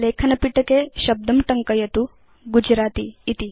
लेखनपिटके शब्दं टङ्कयतु गुजरति इति